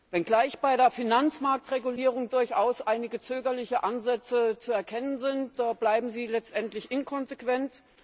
Wenngleich bei der Finanzmarktregulierung durchaus einige zögerliche Ansätze zu erkennen sind, bleiben sie letztendlich inkonsequent.